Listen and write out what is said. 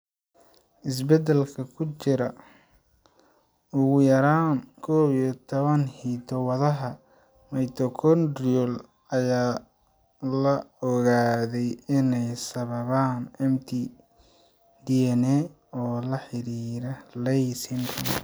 Isbeddellada ku jira ugu yaraan 11 hiddo-wadaha mitochondrial ayaa la ogaaday inay sababaan mtDNA oo la xidhiidha Leigh syndrome.